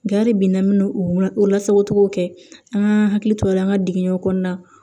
Nga de bi n'an m'o lasagocogo kɛ an ka hakili to la an ka digiɲɛw kɔnɔna na